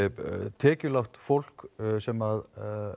tekjulágt fólk sem